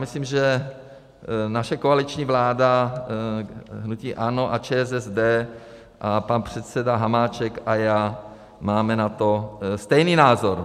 Myslím, že naše koaliční vláda hnutí ANO a ČSSD a pan předseda Hamáček a já máme na to stejný názor.